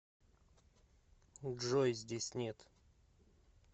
джой здесь нет